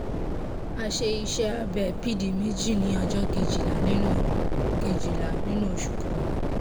a ṣe iṣẹ́ abẹ pd méjì ní ọjọ́ kejìlá nínú kejìlá nínú oṣù kọkànlá